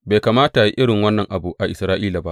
Bai kamata a yi irin wannan abu a Isra’ila ba!